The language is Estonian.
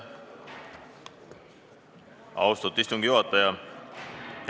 Austatud istungi juhataja!